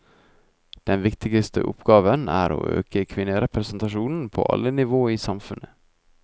Den viktigste oppgaven er å øke kvinnerepresentasjonen på alle nivå i samfunnet.